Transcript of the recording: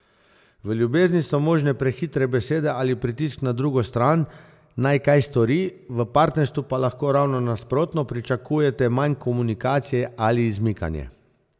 V ljubezni so možne prehitre besede ali pritisk na drugo stran, naj kaj stori, v partnerstvu pa lahko, ravno nasprotno, pričakujete manj komunikacije ali izmikanje.